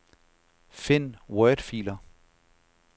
Find wordfiler.